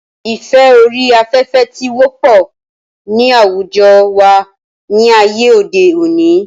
ìfẹ́ orí afẹ́fẹ́ ti wọ́pọ̀ ní àwùjọ wa ní ayé òde òni